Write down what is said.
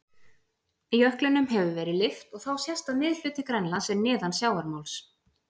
Jöklinum hefur verið lyft og þá sést að miðhluti Grænlands er neðan sjávarmáls.